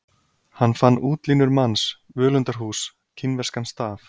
Hann fann útlínur manns, völundarhús, kínverskan staf.